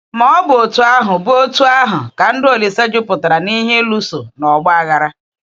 Ma ọ bụ otú ahụ bụ otú ahụ ka ndụ Ȯlísè jupụtara n’ihe ịlụso na ọ̀gbọ̀ aghara.